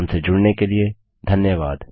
हमसे जुड़ने के लिए धन्यवाद